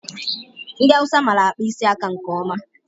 Ndị Awụsa mara akpa isi aka nke ọma.